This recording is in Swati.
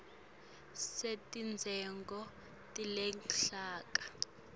wetidzingo teluhlaka